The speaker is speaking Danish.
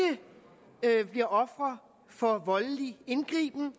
det er ikke bliver ofre for voldelig indgriben